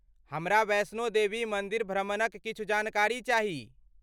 हमरा वैष्णो देवी मन्दिर भ्रमणक किछु जानकारी चाही।